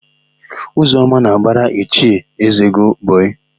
Ụzọma na-agbara Ichie Ezego bọyịị.